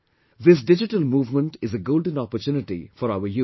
This digital movement is a golden opportunity for our youth